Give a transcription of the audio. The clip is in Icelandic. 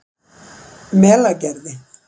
Melagerði